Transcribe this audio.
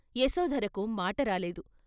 యశోధరకు మాటరాలేదు.